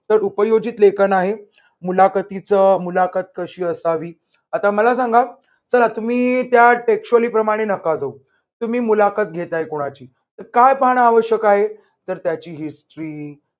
तर उपयोजित लेखन आहे मुलाखतीच मुलाखत कशी असावी आता मला सांगा चला तुम्ही textually प्रमाणे नका जाऊ तुम्ही मुलाखत घेताय कुणाची तर काय पाहण आवश्यक आहे. तर त्याची history